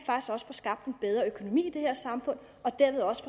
få skabt en bedre økonomi i det her samfund og dermed også